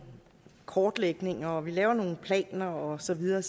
kortlægninger at man laver nogle planer og så videre